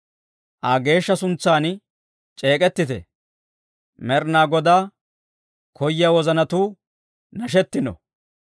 Aa geeshsha suntsan c'eek'ettite; Med'inaa Godaa koyiyaa wozanatuu nashetino.